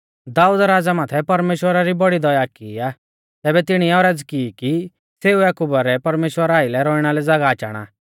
दाऊद राज़ै माथै परमेश्‍वरै बौड़ी दया कि आ तैबै तिणीऐ औरज़ की कि सेऊ याकुबा रै परमेश्‍वरा आइलै रौइणा लै ज़ागाह चाणा